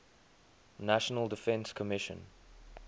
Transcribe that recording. national defense commission